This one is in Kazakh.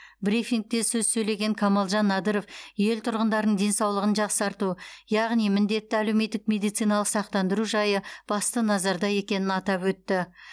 брифингте сөз сөйлеген камалжан надыров ел тұрғындарының денсаулығын жақсарту яғни міндетті әлеуметтік медициналық сақтандыру жайы басты назарда екенін атап өтті